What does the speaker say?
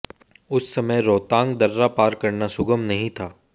उस समय रोहतांग दर्रा पार करना सुगम नही था